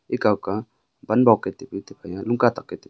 ekow ka wan bok ke taipu tiphai lungkah tak ke tipu.